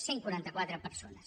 cent i quaranta quatre persones